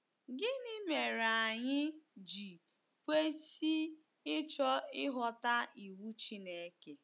Gịnị mere anyị ji kwesị ịchọ ịghọta iwu Chineke?